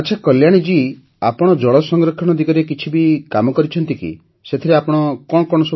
ଆଚ୍ଛା କଲ୍ୟାଣୀ ଜୀ ଆପଣ ଜଳ ସଂରକ୍ଷଣ ଦିଗରେ ବି କିଛି କାମ କରିଛନ୍ତି କି ସେଥିରେ ଆପଣ କି କାମ କରିଛନ୍ତି